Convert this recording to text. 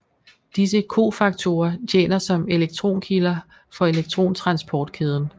Disse cofaktorer tjener som elektronkilder for elektrontransportkæden